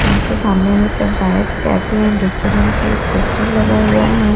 यहां पे सामने में पंचायत कैफे एंड रेस्टोरेंट का एक पोस्टर लगा हुआ है।